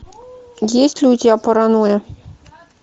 есть ли у тебя паранойя